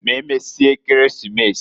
M'emesie Ekeresimesi.